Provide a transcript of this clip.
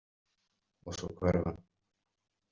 Og svo hvarf hann.